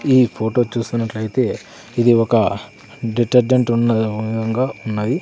ఈ ఫొటో చూసినట్లయితే ఇది ఒక డిటర్జెంట్ ఉన్నదేమో విధంగా ఉన్నది.